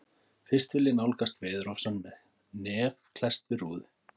Fyrst vil ég nálgast veðurofsann með nef klesst við rúðu.